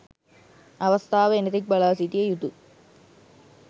අවස්ථාව එනතෙක් බලාසිටිය යුතු